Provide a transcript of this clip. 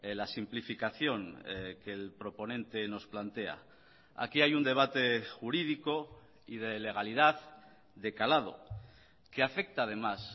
la simplificación que el proponente nos plantea aquí hay un debate jurídico y de legalidad de calado que afecta además